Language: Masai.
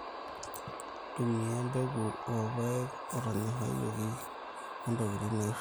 ntumia imbekun oo ilpaek otonyorayioki oo ntokiin naishoroo